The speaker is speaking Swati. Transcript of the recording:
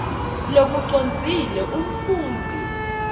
lokucondzile umfundzi